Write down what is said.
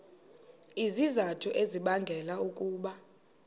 izizathu ezibangela ukuba